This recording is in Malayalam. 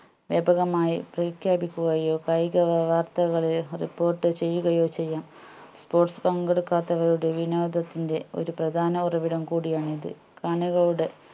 വ്യാപകമായി പ്രഖ്യാപിക്കുകയോ കായിക വാർത്തകളെ report ചെയ്യുകയോ ചെയ്യാം sports പങ്കെടുക്കാത്തവരുടെ വിനോദത്തിന്റെ ഒരു പ്രധാന ഉറവിടം കൂടി ആണ്‌ ഇത് കാണികളുടെ